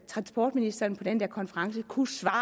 transportministeren på den der konference kunne svare